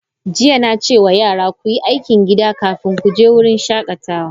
Jiya, na ce wa yara, ku yi aikin gida kafin ku je wurin shakatawa!